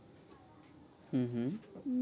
হম হম